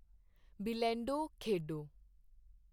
ਬਿਲੈਂਡੋ ਖੇਡੋ